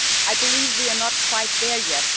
I believe we are not quite there yet.